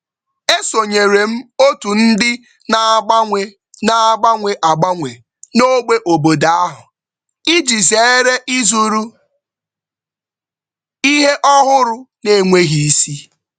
E sonyere m otu ndị na-agbanwe na-agbanwe agbanwe n'ogbe obodo ahụ iji zeere ịzụrụ ihe ọhụrụ n'enweghị isi.